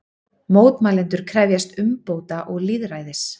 Mótmælendur krefjast umbóta og lýðræðis